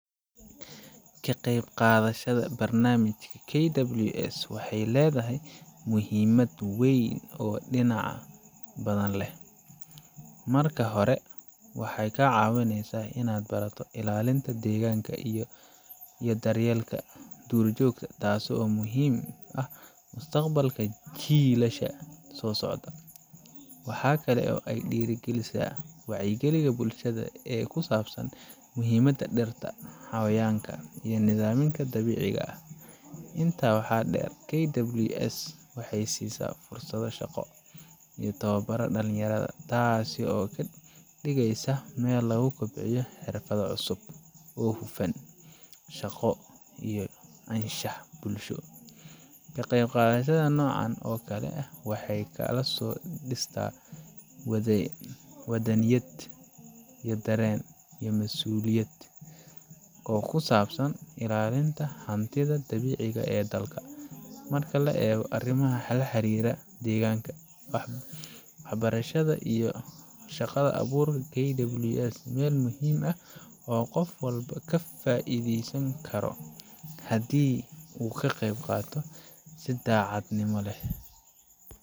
Ka qeyb qadshada barmish KWS waxey ledahay muhimad weyn oo dinac walbo leh. Marka hore waxey kacawinesa inaad barato ilalinta deganka iyo dhur jogta taso muhim eh mustaqbalka jilasha so socda. Waxa kale oo ay dhira galisa wac ya galinta ee bulshada ee ku sabsan muhimada dhirta ee xayawanka iyo muhima dhirta ee dabiciga ah ,Inta waxa dher KWS waxey sisaa fursado shaqo iyo tababaro dhalinyaro ,taso oo kadigeso mel lagu kobciyo xirfadho cusub oo xufan ,shaqo iyo anshax bulsho .Ka qeyb qadashada nocan okale ah waxey kala so dhista wadaniyad iyo daren iyo masuliyad oo kusabsan ilalinta hantida dabiciga ah ee dalka ,marka la egoo arimaha laxiriro degankan oo walba kafaideysan karo hadi uu kaqeyb qato si dacad nimo leh.